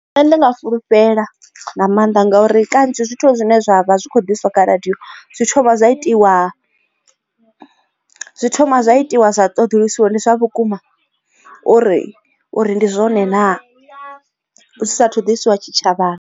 Nṋe ndi nga fulufhela nga maanḓa ngauri kanzhi zwithu zwine zwa vha zwi kho diswa kha radio zwi thoma zwa itiwa zwi thoma zwa itiwa zwa ṱoḓulusiwa uri ndi zwa vhukuma uri uri ndi zwone na zwi sathu ḓisiwa tshitshavhani.